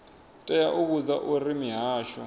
tea u vhudzwa uri mihasho